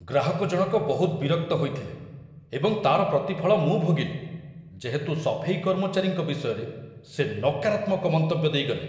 ଗ୍ରାହକ ଜଣକ ବହୁତ ବିରକ୍ତ ହୋଇଥିଲେ ଏବଂ ତା'ର ପ୍ରତିଫଳ ମୁଁ ଭୋଗିଲି, ଯେହେତୁ ସଫେଇ କର୍ମଚାରୀଙ୍କ ବିଷୟରେ ସେ ନକାରାତ୍ମକ ମନ୍ତବ୍ୟ ଦେଇଗଲେ।